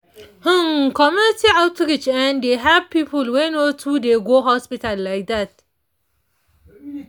hmmmm community outreach[um]dey help people wey no too dey go hospital like dat